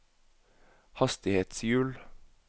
hastighetshjul